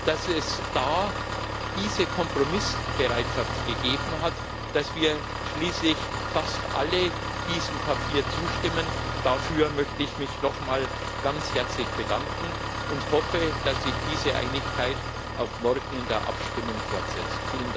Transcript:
Dass es da diese Kompromissbereitschaft gegeben hat, dass wir schließlich fast alle diesem Papier zustimmen, dafür möchte ich mich nochmal ganz herzlich bedanken und hoffe, dass sich diese Einigkeit auch morgen in der Abstimmung fortsetzt.